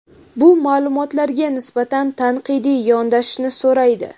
bu maʼlumotlarga nisbatan tanqidiy yondashishni so‘raydi.